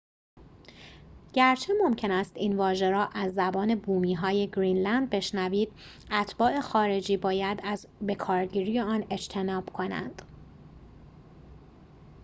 گرچه ممکن است این واژه را از زبان بومی‌های گرینلند بشنوید اتباع خارجی باید از بکارگیری آن اجتناب کنند